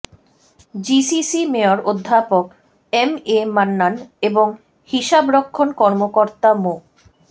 GCC mayor অধ্যাপক M A Mannan এবং হিসাবরক্ষণ কর্মকর্তা মো